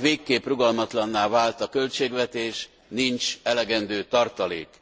végképp rugalmatlanná vált a költségvetés, nincs elegendő tartalék.